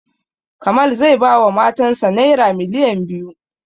Kamal zai ba wa matan sa naira miliyan biyu